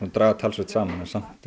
draga talsvert saman en samt